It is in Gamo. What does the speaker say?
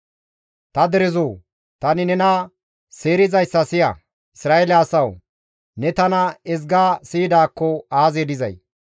«Ta derezoo! Tani nena seerizayssa siya! Isra7eele asawu! Ne tana ezga siyidaakko aazee dizay!